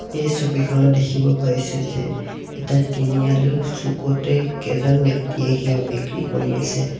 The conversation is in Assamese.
এই ছবিখনত দেখিব পাইছোঁ যে এটা তিনিআলিৰ চুকতে কেইজন ব্যক্তিয়ে কিবা বিক্ৰী কৰি আছে।